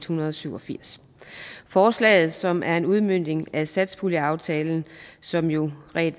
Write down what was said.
hundrede og syv og firs forslaget som er en udmøntning af satspuljeaftalen som jo